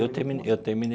Eu termi eu terminei.